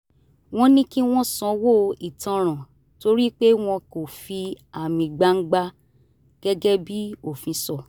wọ́n ní kí wọ́n sanwó ìtanràn torí pé wọ́n kò fi àmì gbangba gẹ́gẹ́ bí òfin sọ